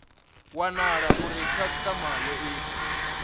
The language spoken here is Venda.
wanala uri khasitama yo ita